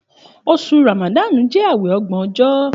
Òsú ràmàdànú jẹ àwẹ ògbo ọjọ.